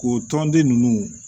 O tɔnden ninnu